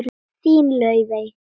Þín, Laufey.